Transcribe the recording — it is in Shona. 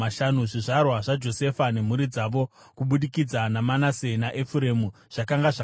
Zvizvarwa zvaJosefa nemhuri dzavo kubudikidza naManase naEfuremu zvakanga zvakadai: